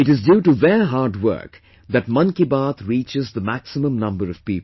It is due to their hard work that Mann Ki Baat reaches maximum number of people